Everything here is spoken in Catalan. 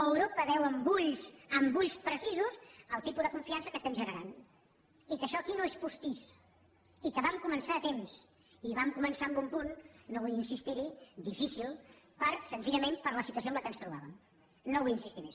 europa veu amb ulls precisos el tipus de confiança que estem generant i que això aquí no és postís i que vam començar a temps i vam començar en un punt no vull insistir hi difícil senzillament per la situació en què ens trobàvem no hi vull insistir més